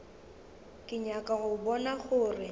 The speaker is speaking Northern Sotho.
ke nyaka go bona gore